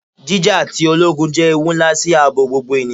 Jija ti ologun jẹ ewu nla si aabo gbogbo eniyan